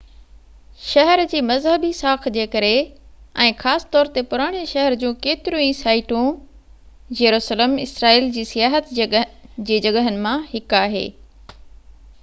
شهر جي مذهبي ساک جي ڪري ۽ خاص طور تي پراڻي شهر جون ڪيتريون ئي سائيٽون جيروسلم اسرائيل جي سياحت جي جڳهين مان هڪ آهي